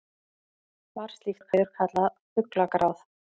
var slíkt veður kallað fuglagráð